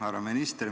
Härra minister!